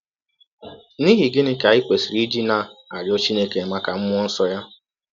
N’ihi gịnị ka anyị kwesịrị iji na - arịọ Chineke maka mmụọ nsọ ya?